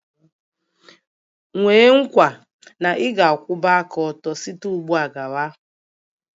Nwee nkwa na ị ga-akwụwa aka ọtọ site ugbu a gawa?